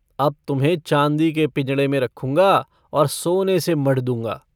अब तुम्हें चाँदी के पिंजड़े में रखूँगा और सोने से मढ़ दूंगा।